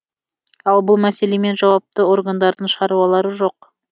ал бұл мәселемен жауапты органдардың шаруалары жоқ